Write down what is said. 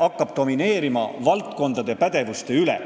hakkab domineerima valdkondade pädevuste üle.